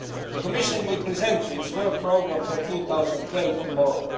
The Commission will present its work programme for 2012 tomorrow.